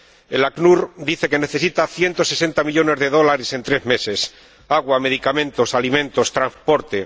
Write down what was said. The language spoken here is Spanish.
El ACNUR dice que necesita 160 millones de dólares en tres meses, agua, medicamentos, alimentos, transporte.